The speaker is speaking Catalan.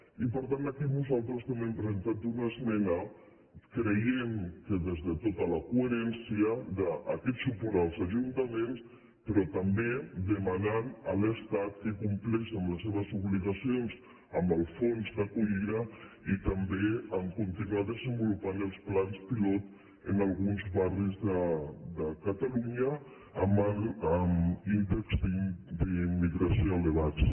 i per tant aquí nosaltres també hem presentat una es·mena creient que des de tota la coherència d’aquest suport als ajuntaments però també demanant a l’es·tat que compleixi amb les seves obligacions amb els fons d’acollida i també en continuar desenvolupant els plans pilot en alguns barris de catalunya amb ín·dex d’immigració elevats